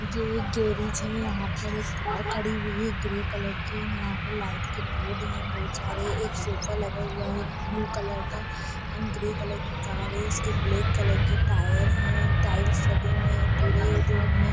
ये गेरेज हैयहाँ पर एक कार खड़ी हुई है ग्रे कलर की ओर यहाँ पर लाइट के बोर्ड है बहुत सारे एक सोफा लगा हैब्लू कलर का एन्ड ग्रे कलर की कार है इसके ब्लेक के टायर हैटाईल्स लगे हुये है पुरे रूम में।